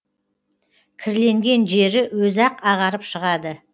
кірленген жері өзі ақ ағарып шығады